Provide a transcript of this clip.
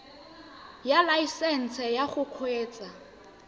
ya laesesnse ya go kgweetsa